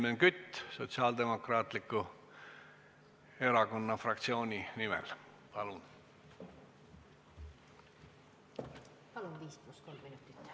Helmen Kütt Sotsiaaldemokraatliku Erakonna fraktsiooni nimel, palun!